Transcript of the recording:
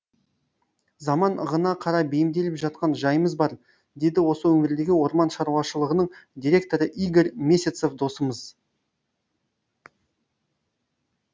заман ығына қарай бейімделіп жатқан жайымыз бар деді осы өңірдегі орман шаруашылығының директоры игорь месяцев досымыз